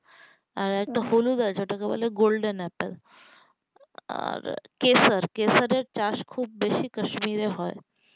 আর একটা হলুদ আছে যেটাকে বলে golden apple আরকেশর কেশর এর চাষ অনেক বেশি হয় কাশ্মীরে